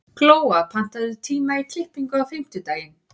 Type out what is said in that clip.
Glóa, pantaðu tíma í klippingu á fimmtudaginn.